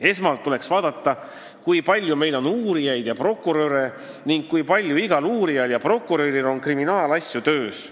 Esmalt tuleks vaadata, kui palju meil on uurijaid ja prokuröre ning kui palju on igal uurijal ja prokuröril kriminaalasju töös.